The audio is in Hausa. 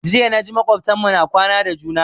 Jiya na ji makwabtan mu na kwana da juna